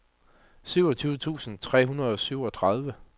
syvogtyve tusind tre hundrede og syvogtredive